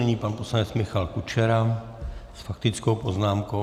Nyní pan poslanec Michal Kučera s faktickou poznámkou.